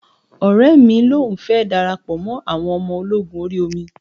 Ọ̀rẹ́ mi lòun fẹ́ darapọ̀ mọ́ awọn ọmọ ológun orí omi